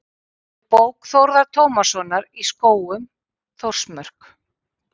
Í bók Þórðar Tómassonar í Skógum, Þórsmörk.